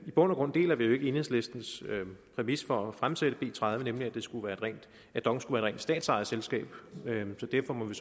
i bund og grund deler vi jo ikke enhedslistens præmis for at fremsætte b tredive nemlig at dong skulle rent statsejet selskab så derfor må vi